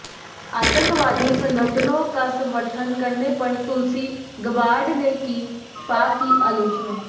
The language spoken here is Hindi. आतंकवादी संगठनों का समर्थन करने पर तुलसी गबार्ड ने की पाक की आलोचना